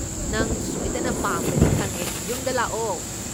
ꯅꯪ ꯁꯣꯏꯗꯅ ꯄꯥꯝꯒꯅꯤ ꯈꯪꯉꯦ, ꯌꯨꯝꯗ ꯂꯥꯛꯑꯣꯦ!